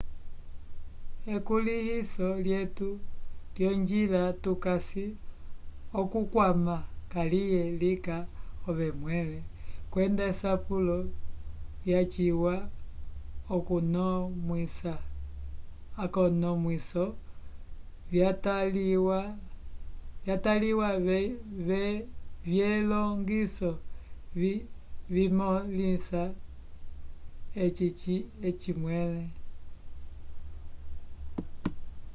ekulĩhiso lyetu lyonjila tukasi okukwama kaliye linga ove mwẽle kwenda esapulo lyaciwa akonomwiso vyataliwa vyelongiso vimõlisa eci mwẽle